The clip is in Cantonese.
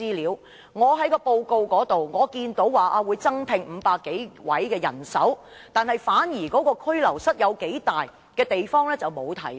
小組委員會報告內有載述增聘500多名人手的計劃，卻沒有提到羈留室面積大小的問題。